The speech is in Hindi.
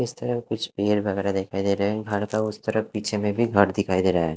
इस तरफ कुछ पेड़ वगैरह दिखाई दे रहे हैं घर के उस तरफ पीछे में भी घर दिखाई दे रहा है।